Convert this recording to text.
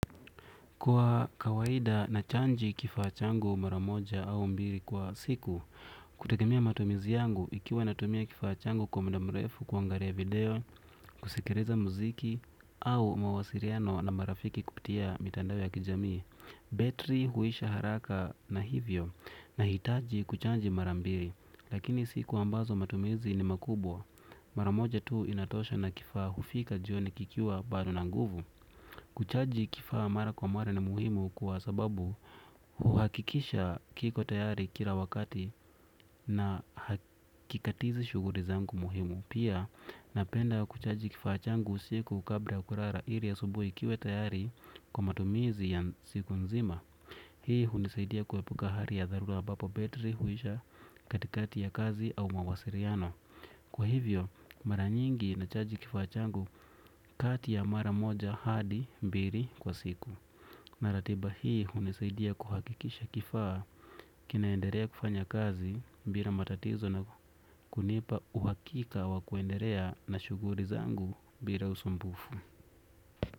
Kwa kawaida nachaji kifaa changu mara moja au mbili kwa siku. Kutegemea matumizi yangu ikiwa natumia kifaa changu kwa muda mrefu kuangalia video kusikiliza muziki au mawasiliano na marafiki kupitia mitandao ya kijamii betri huisha haraka na hivyo nahitaji kuchaji mara mbili. Lakini siku ambazo matumizi ni makubwa mara moja tu inatosha na kifaa hufika jioni kikiwa bado na nguvu. Kuchaji kifaa mara kwa mara ni muhimu kwa sababu huhakikisha kiko tayari kila wakati na hakikatizi shughuli zangu muhimu. Pia, napenda kuchaji kifaa changu usiku kabla ya kulala ili asubuhi kiwe tayari kwa matumizi ya siku nzima. Hii hunisaidia kuepuka hali ya dharura ambapo betri huisha katikati ya kazi au mawasiliano. Kwa hivyo mara nyingi nachaji kifaa changu kati ya mara moja hadi mbili kwa siku. Na ratiba hii hunisaidia kuhakikisha kifaa kinaendelea kufanya kazi bila matatizo na kunipa uhakika wa kuendelea na shughuli zangu bila usumbufu.